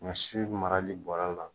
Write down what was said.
Ɲɔsi marali bɔrɛ la